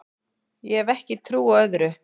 Ég hef ekki trú á öðru